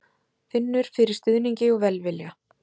Finnur fyrir stuðningi og velvilja